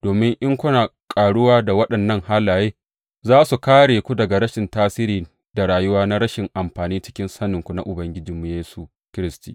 Domin in kuna ƙaruwa a waɗannan halaye, za su kāre ku daga rashin tasiri da rayuwa na rashin amfani cikin saninku na Ubangijinmu Yesu Kiristi.